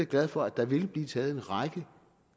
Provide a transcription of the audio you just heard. glad for at der vil blive taget en række